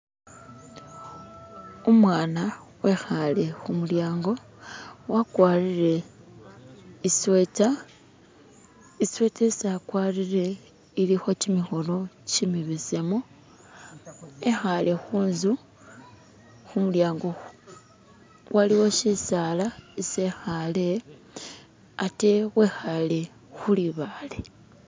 Umwana wekhale khumulyango, wakwarire isweta, isweta isi akwarire ilikho kimikhono kimibesemu ekhale khunzu khumulyango, waliwo sisala isi ekhale ate wekhale khu libaale.